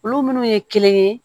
Olu minnu ye kelen ye